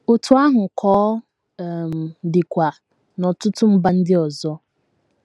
Otú ahụ ka ọ um dịkwa n’ọtụtụ mba ndị ọzọ.